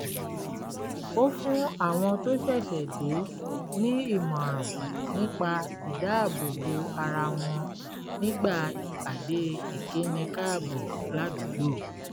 ó fún àwọn tó ṣẹ̀ṣẹ̀ dé ní ìmọ̀ràn nípa ìdáàbòbò ara wọn nígbà ìpàdé ìkíni káàbọ̀ ládùúgbò